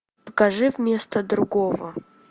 покажи вместо другого